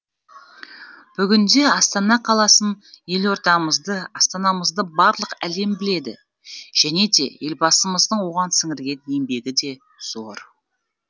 бүгінде астана қаласын елордамызды астанамызды барлық әлем біледі және де елбасымыздың оған сіңірген еңбегі де зор